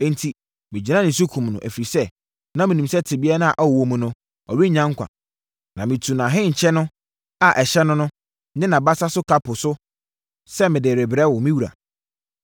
“Enti, megyinaa ne so kumm no, ɛfiri sɛ, na menim sɛ tebea a ɔwɔ mu no, ɔrennya nkwa. Na metuu nʼahenkyɛ a ɛhyɛ no no ne nʼabasa so kapo no sɛ mede rebrɛ wo, me wura.”